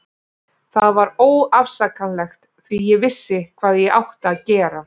Það var óafsakanlegt því ég vissi hvað ég átti að gera.